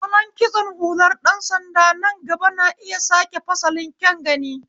Salon kitson hular ɗan sanda nan gaba na iya sake fasalin kyan gani.